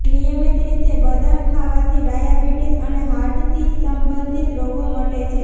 નિયમિત રીતે બદામ ખાવાથી ડાયાબિટીઝ અને હાર્ટથી સંબંધિત રોગો મટે છે